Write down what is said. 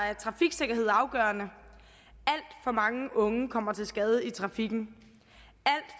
er trafiksikkerhed afgørende alt for mange unge kommer til skade i trafikken